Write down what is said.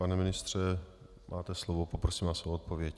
Pane ministře, máte slovo, poprosím vás o odpověď.